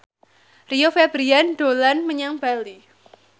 Rio Febrian dolan menyang Bali